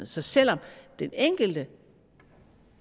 så selv om den enkelte